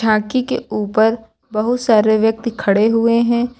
आकी के ऊपर बहुत सारे व्यक्ति खड़े हुए हैं।